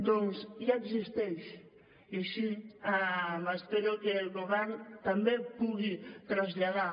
doncs ja existeix i així espero que el govern també pugui traslladar